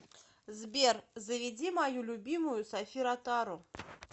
сбер заведи мою любимую софи ротару